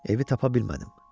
Evi tapa bilmədim.